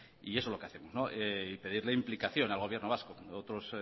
y eso es lo que hacemos y pedirle implicación al gobierno vasco